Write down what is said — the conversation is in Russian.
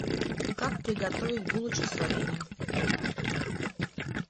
как приготовить булочки с вареньем